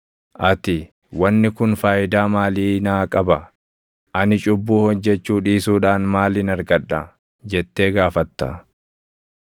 Ati, ‘Wanni kun faayidaa maalii naa qaba? Ani cubbuu hojjechuu dhiisuudhaan maalin argadha?’ jettee gaafatta.